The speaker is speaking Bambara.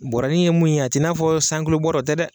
Bɔɔrɔnin ye mun ye a t'i n'a fɔ bɔɔrɔ o tɛ dɛ.